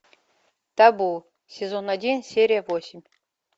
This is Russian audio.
табу сезон один серия восемь